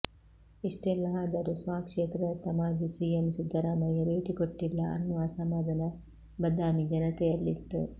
ಇಷ್ಟೆಲ್ಲಾ ಆದರೂ ಸ್ವಕ್ಷೇತ್ರದತ್ತ ಮಾಜಿ ಸಿಎಂ ಸಿದ್ದರಾಮಯ್ಯ ಭೇಟಿಕೊಟ್ಟಿಲ್ಲ ಅನ್ನುವ ಅಸಮಾಧಾನ ಬದಾಮಿ ಜನತೆಯಲ್ಲಿತ್ತು